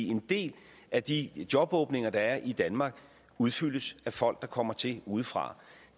en del af de jobåbninger der er i danmark udfyldes af folk der kommer til udefra